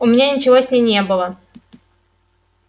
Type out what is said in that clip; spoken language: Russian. у меня ничего с ней не было